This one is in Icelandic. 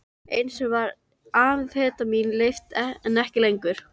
Einu sinni var amfetamín leyft, en ekki lengur.